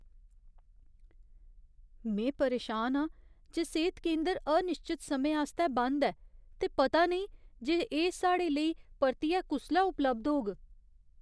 में परेशान आं जे सेह्त केंदर अनिश्चत समें आस्तै बंद ऐ ते पता नेईं जे एह् साढ़े लेई परतियै कुसलै उपलब्ध होग।